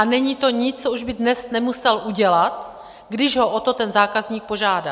A není to nic, co už by dnes nemusel udělat, když ho o to ten zákazník požádá.